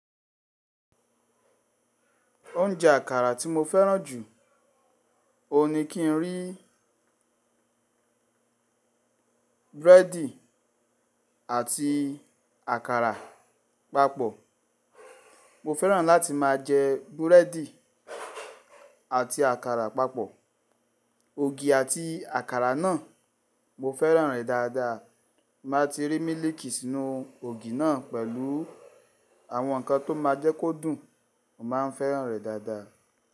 Oúnjẹ àkàrà tí mo fẹ́ràn jù, òwun ni kí n rí búrẹ́dì àti àkàrà papọ̀. Mo fẹ́ràn láti máa jẹ búrẹ́dì àti àkàrà papọ̀. Ògì àti àkàrà náà, mo fẹ́ràn rẹ̀ dáadáa. Ti ba ti rí mílìkì sínú ògì náà pẹ̀lú àwọn nǹkan tó máa jẹ́ kó dùn, mo máa ń fẹ́ràn rẹ̀ dáadáa.